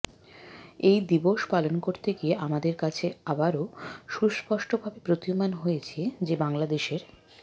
এই দিবস পালন করতে গিয়ে আমাদের কাছে আবারও সুস্পষ্টভাবে প্রতীয়মান হয়েছে যে বাংলাদেশের